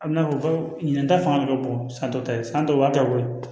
A bɛna fɔ ko ɲiniga fanga ka bon san dɔ ta ye san dɔw b'a kɛ koyi